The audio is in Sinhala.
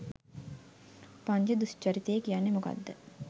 පංච දුෂ්චරිතය කියන්නේ මොකක්ද